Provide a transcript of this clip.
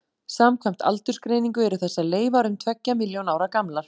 Samkvæmt aldursgreiningu eru þessar leifar um tveggja milljón ára gamlar.